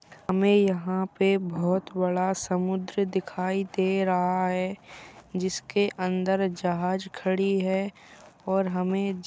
हमें यहां पे बोहोत बड़ा समुद्र दिखाई दे रहा है जिसके अंदर जहाज खड़ी है और हमें --